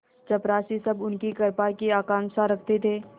चपरासीसब उनकी कृपा की आकांक्षा रखते थे